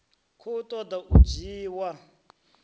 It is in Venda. khou ṱo ḓa u dzhiwa